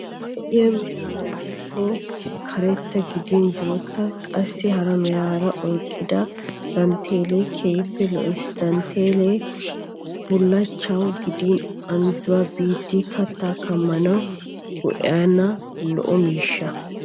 Lo'iya meraara woykko karetta gidin bootta qassi hara meraa oyqqida dantteellee keehippe lo'es. Dantteellee bullachchay gidin anjjuwa biiddi kattaa kammanawu go'iyanne lo'o miishsha.